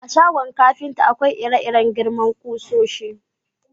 A shagon kafinta, akwai ire-iren girman kusoshi.